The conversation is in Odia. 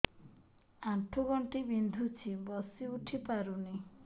ଆଣ୍ଠୁ ଗଣ୍ଠି ବିନ୍ଧୁଛି ବସିଉଠି ପାରୁନି